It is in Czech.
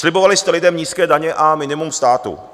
Slibovali jste lidem nízké daně a minimum státu.